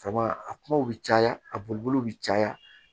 a kumaw bi caya a bolo bi caya